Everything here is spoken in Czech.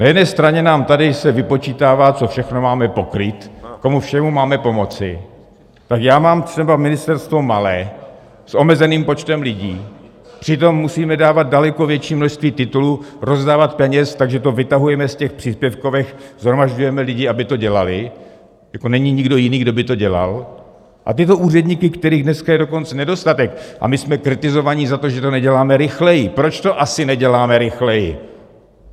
Na jedné straně nám tady se vypočítává, co všechno máme pokrýt, komu všemu máme pomoci, tak já mám třeba ministerstvo malé, s omezeným počtem lidí, přitom musíme dávat daleko větší množství titulů, rozdávat peněz, takže to vytahujeme z těch příspěvkovek, shromažďujeme lidi, aby to dělali, jako není nikdo jiný, kdo by to dělal, a tyto úředníky, kterých dneska je dokonce nedostatek, a my jsme kritizovaní za to, že to neděláme rychleji - proč to asi neděláme rychleji?